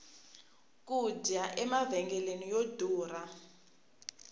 ku dya emavhengeleni yo durha